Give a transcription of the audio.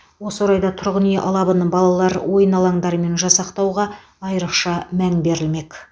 осы орайда тұрғын үй алабын балалар ойын алаңдарымен жасақтауға айрықша мән берілмек